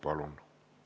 Palun!